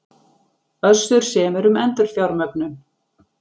Össur semur um endurfjármögnun